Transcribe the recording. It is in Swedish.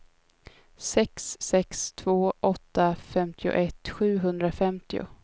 sex sex två åtta femtioett sjuhundrafemtio